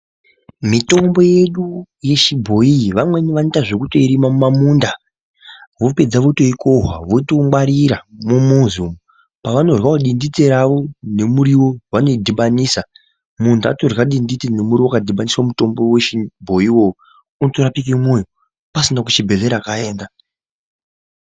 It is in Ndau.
Mitombo yedu yechibhoi iyi vamweni vanoita zvekutoirima mumamunda vopedza votoikohwa votoingwarira mumuzi umu. Pavanoyavo dinditi ravo murivo vanoidhibanisa muntu atorya dinditi nemuriwo vakadhibaniswa mutombo veshe vechibhoivo unotorapike mwoyo, pasina kuchibhedhlera kwaaenda.